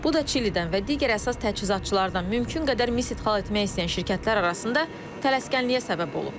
Bu da Çilidən və digər əsas təchizatçılardan mümkün qədər mis idxal etmək istəyən şirkətlər arasında tələskənliyə səbəb olub.